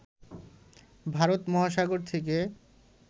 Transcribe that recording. ভারত মহাসাগর থেকে